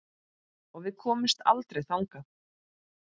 Og við komumst aldrei þangað.